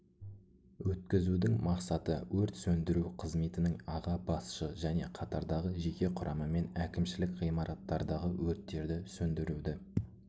өткізудің мақсаты өрт сөндіру қызметінің аға басшы және қатардағы жеке құрамымен әкімшілік ғимараттардағы өрттерді сөндіруді